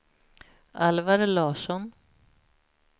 Alvar Larsson